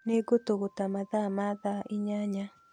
Nĩngũtũgũta mathaa ma thaa inyanya